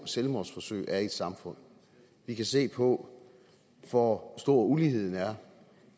selvmordsforsøg er i et samfund vi kan se på hvor stor uligheden er